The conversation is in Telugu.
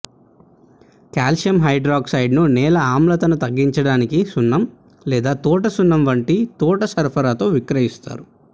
కాల్షియం హైడ్రాక్సైడ్ను నేల ఆమ్లతను తగ్గించడానికి సున్నం లేదా తోట సున్నం వంటి తోట సరఫరాతో విక్రయిస్తారు